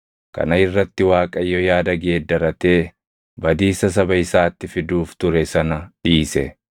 Kana irratti Waaqayyo yaada geeddaratee badiisa saba isaatti fiduuf ture sana dhiise.